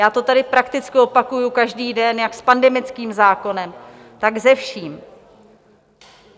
Já to tady prakticky opakuji každý den, jak s pandemickým zákonem, tak se vším.